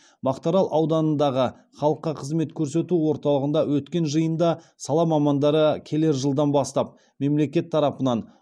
мақтарал ауданындағы халыққа қызмет көрсету орталығында өткен жиында сала мамандары келер жылдан бастап мемлекет тарапынан